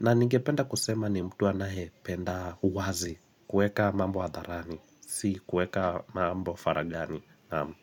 na ningependa kusema ni mtu wa anaependa uwazi kueka mambo hadharani, si kueka mambo wa faraghani, Naam.